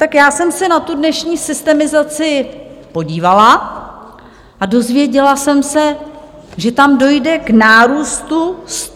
Tak já jsem se na tu dnešní systemizaci podívala a dozvěděla jsem se, že tam dojde k nárůstu 164 míst.